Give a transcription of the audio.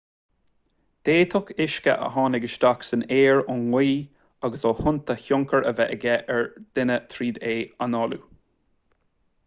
d'fhéadfadh uisce a tháinig isteach san aer ón ngaoth agus ó thonnta tionchar a bheith aige ar dhuine tríd é análú